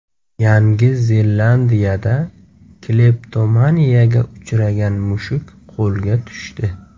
Yangi Zelandiyada kleptomaniyaga uchragan mushuk qo‘lga tushdi.